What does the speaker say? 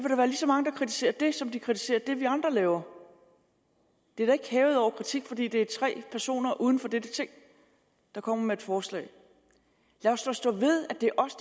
kritiserer det som der kritiserer det vi andre laver det er da ikke hævet over kritik fordi det er tre personer uden for dette ting der kommer med et forslag lad os da stå ved at det er os